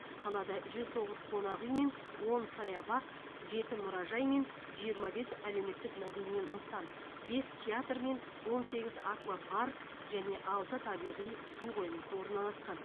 қалада жүз тоғыз қонақ үй мен он саябақ жеті мұражай мен жиырма бес әлеуметтік мәдени нысан бес театр мен он сегіз аквапарк және алты табиғи су қоймасы орналасқан